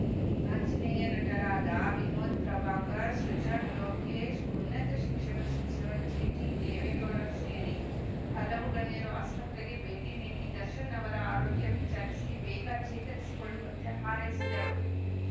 ಆಂಜನೇಯ ನಟರಾದ ವಿನೋದ್‌ ಪ್ರಭಾಕರ್‌ ಸೃಜನ್‌ ಲೋಕೇಶ್‌ ಉನ್ನತ ಶಿಕ್ಷಣ ಸಚಿವ ಜಿಟಿದೇವೇಗೌಡ ಸೇರಿ ಹಲವು ಗಣ್ಯರು ಆಸ್ಪತ್ರೆಗೆ ಭೇಟಿ ನೀಡಿ ದರ್ಶನ್‌ ಅವರ ಆರೋಗ್ಯ ವಿಚಾರಿಸಿ ಬೇಗ ಚೇತರಿಸಿಕೊಳ್ಳುವಂತೆ ಹಾರೈಸಿದರು